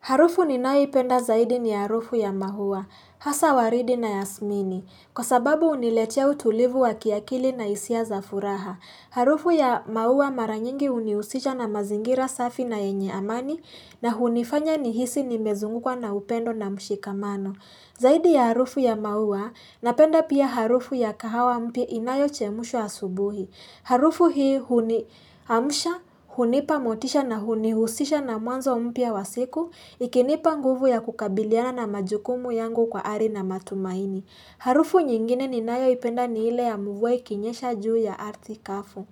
Harufu ninayoipenda zaidi ni harufu ya mahuwa, hasa waridi na yasmini, kwa sababu uniletia utulivu wa kiakili na hisia za furaha. Harufu ya maua mara nyingi uniusisha na mazingira safi na yenye amani na hunifanya nihisi nimezungukwa na upendo na mshikamano. Zaidi ya harufu ya mahuwa, napenda pia harufu ya kahawa mpya inayochemushwa asubuhi. Harufu hii huniamsha hunipa motisha na hunihusisha na mwanzo mpya wa siku ikinipa nguvu ya kukabiliana na majukumu yangu kwa ari na matumaini. Harufu nyingine ni nayoipenda ni ile ya mvua ikinyesha juu ya arthi kafu.